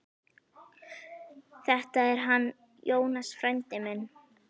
Þetta er hann Jónas, frændi minn.